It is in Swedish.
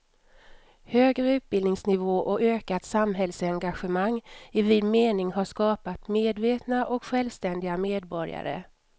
Högre utbildningsnivå och ökat samhällsengagemang i vid mening har skapat medvetna och självständiga medborgare.